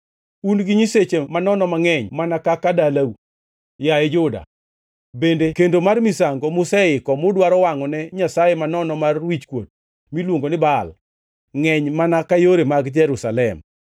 Un gi nyiseche manono mangʼeny mana kaka dalau, yaye Juda; bende kendo mar misango museiko mudwaro wangʼone nyasaye manono mar wichkuot miluongo ni Baal ngʼeny mana ka yore mag Jerusalem.’